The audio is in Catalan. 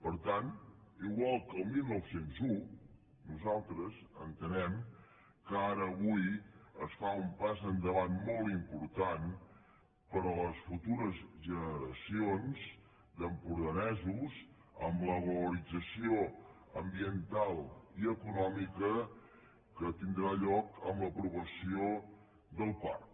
per tant igual que el dinou zero un nosaltres entenem que ara avui es fa un pas endavant molt important per a les futures generacions d’empordanesos amb la valorització ambiental i econò·mica que tindrà lloc amb l’aprovació del parc